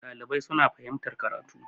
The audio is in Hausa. dalibai suna fahimtar karatu